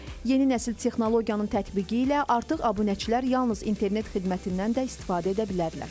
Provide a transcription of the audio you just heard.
Yeni nəsil texnologiyanın tətbiqi ilə artıq abunəçilər yalnız internet xidmətindən də istifadə edə bilərlər.